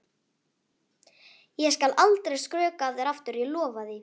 Ég skal aldrei skrökva að þér aftur, ég lofa því.